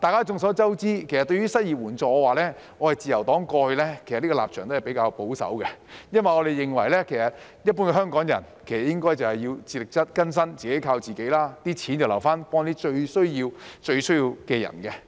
眾所周知，對於失業援助，自由黨過去的立場都是比較保守的。因為我們認為一般香港人應該自力更生、自己靠自己，錢要留來幫助最需要的人。